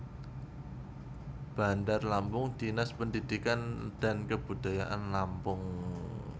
Bandar Lampung Dinas Pendidikan dan Kebudayaan Lampung